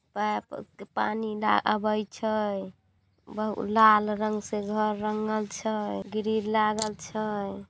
पानी आवे छै लाल रंग से घर रंगल छै ग्रील लागल छै।